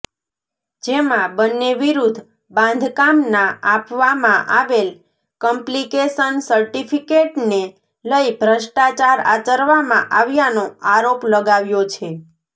જેમાં બન્ને વિરુદ્ધ બાંધકામના આપવામાં આવેલ કમ્પ્લીકેશન ર્સિટફ્ીકેટને લઈ ભ્રષ્ટાચાર આચરવામાં આવ્યાનો આરોપ લગાવ્યો છે